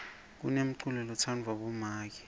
kunenculo lotsandvwa bomake